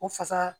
O fasa